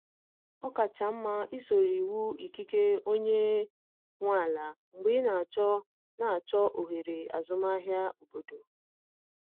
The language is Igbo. Ọ kacha mma isoro iwu ikike onye nwe ala mgbe ị na-achọ na-achọ ohere azụmahịa obodo.